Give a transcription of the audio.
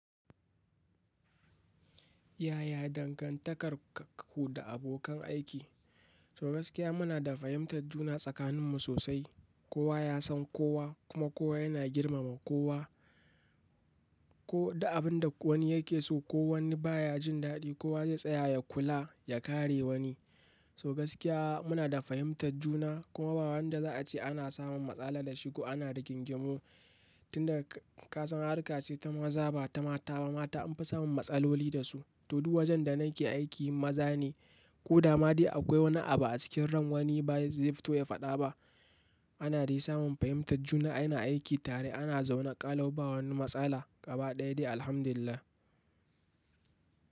Yaya dangantakarku da abokan aiki? So gaskiya muna da fahimtar juna tsakaninmu sosai. Kowa ya san kowa kuma kowa yana girmama kowa. Ko da abin da wani yake so ko wani baya jin daɗi, kowa zai tsaya ya kula ya kare wani. So gaskiya muna da fahimtar juna kuma ba wanda za a ce ana samun matsala da shi ko ana rigingimu. Tun da kasan harka ce ta maza ba ta mata ba. Mata an fi samun matsaloli da su. To duk wajen da nake aiki maza ne. Ko dama dai akwai wani abu a cikin ran wani ba zai fito ya faɗa ba. Ana dai samun fahimtar juna. Ina aiki tare ana zaune ƙalau, bawani matsala gaba ɗaya dai Alhamdulillah.